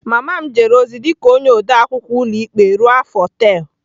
Mama m jere ozi dị ka onye ode akwụkwọ ụlọikpe ruo afọ tel.